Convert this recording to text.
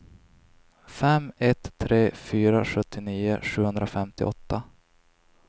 fem ett tre fyra sjuttionio sjuhundrafemtioåtta